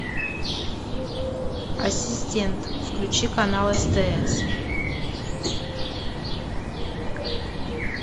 ассистент включи канал стс